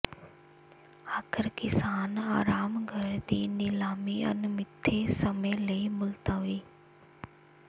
ਆਖ਼ਰ ਕਿਸਾਨ ਆਰਾਮ ਘਰ ਦੀ ਨਿਲਾਮੀ ਅਣਮਿੱਥੇ ਸਮੇਂ ਲਈ ਮੁਲਤਵੀ